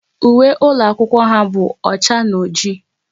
Uwe ụlọ akwụkwọ ha bụ ọcha na ọjị